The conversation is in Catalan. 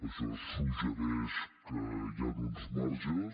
això suggereix que hi han uns marges